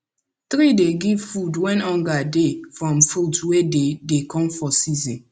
tree dey give food when hunger dey from fruit wey dey dey come for season